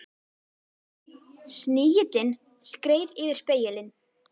Snigillinn skreið yfir spegilinn.